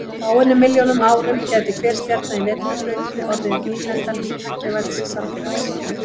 Á fáeinum milljónum árum gæti hver stjarna í Vetrarbrautinni orðið nýlenda tæknivædds samfélags.